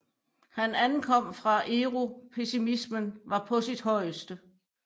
Han ankom fra Europessimismen var på sit højeste